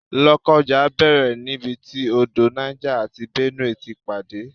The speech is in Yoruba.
Lokoja bẹ̀rẹ̀ nibiti odò Niger àti Benue ti pàdé